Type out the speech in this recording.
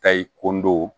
Kayi kundow